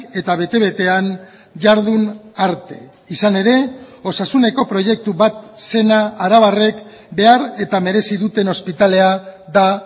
eta bete betean jardun arte izan ere osasuneko proiektu bat zena arabarrek behar eta merezi duten ospitalea da